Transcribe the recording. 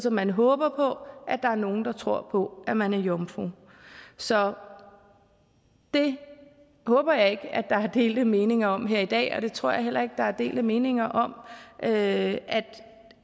at man håber på at der er nogle der tror på at man er jomfru så det håber jeg ikke at der er delte meninger om her i dag og jeg tror heller ikke at der er delte meninger om at